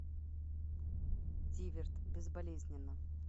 зиверт безболезненно